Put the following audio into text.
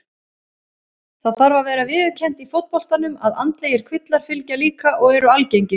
Það þarf að vera viðurkennt í fótboltanum að andlegir kvillar fylgja líka og eru algengir.